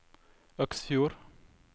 Øksfjord